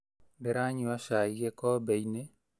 Ndĩranyua cai gĩkombeinĩ